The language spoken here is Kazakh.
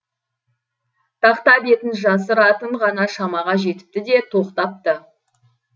тақта бетін жасыратын ғана шамаға жетіпті де тоқтапты